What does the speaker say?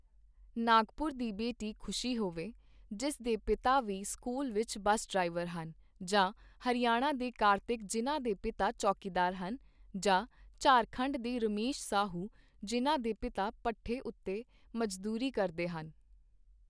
ਨਾਗਪੁਰ ਦੀ ਬੇਟੀ ਖੁਸ਼ੀ ਹੋਵੇ, ਜਿਸ ਦੇ ਪਿਤਾ ਵੀ ਸਕੂਲ ਵਿੱਚ ਬਸ ਡ੍ਰਾਈਵਰ ਹਨ, ਜਾਂ ਹਰਿਆਣਾ ਦੇ ਕਾਰਤਿਕ ਜਿਨ੍ਹਾਂ ਦੇ ਪਿਤਾ ਚੌਕੀਦਾਰ ਹਨ, ਜਾਂ ਝਾਰਖੰਡ ਦੇ ਰਮੇਸ਼ ਸਾਹੂ ਜਿਨ੍ਹਾਂ ਦੇ ਪਿਤਾ ਭੱਠੇ ਉੱਤੇ ਮਜ਼ਦੂਰੀ ਕਰਦੇ ਹਨ।